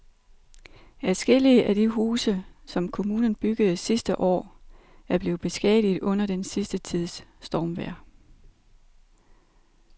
Adskillige af de huse, som kommunen byggede sidste år, er blevet beskadiget under den sidste tids stormvejr.